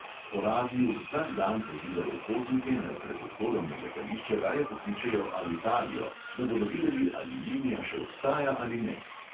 Po radiu vsak dan pozivajo potnike, naj pred odhodom na letališče raje pokličejo alitalio, da bodo videli, ali linija še obstaja ali ne.